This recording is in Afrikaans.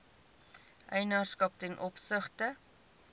eienaarskap ten opsigte